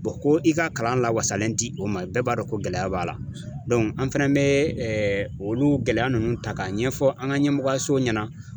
ko i ka kalan lawasalen di o ma, bɛɛ b'a dɔn ko gɛlɛya b'a la an fana bɛ olu gɛlɛya ninnu ta k'a ɲɛfɔ an ka ɲɛmɔgɔsow ɲɛna.